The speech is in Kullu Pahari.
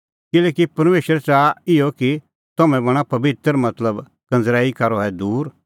किल्हैकि परमेशर च़ाहा इहअ कि तम्हैं बणां पबित्र मतलबकंज़रैई का रहै दूर